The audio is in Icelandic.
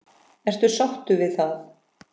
Ertu sáttur við það?